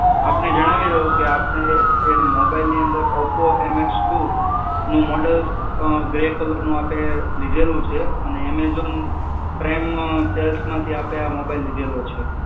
આપને જણાવી દઉં કે આપને મોબાઈલની અંદર ઓપ્પો એમએક્સ ટુ નું મોડલ અં ગ્રે કલરનું આપે લીધેલું છે અને એમેઝોન પ્રાઈમ સેલ્સમાંથી આપે આ મોબાઈલ લીધેલો છે.